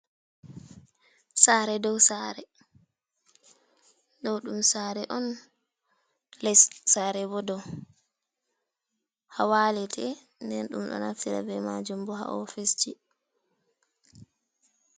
Saare dow saare, ɗo ɗum saare on les, saare bo dow haa walete. Nden ɗum ɗo naftira be maajum bo, haa ofiseji.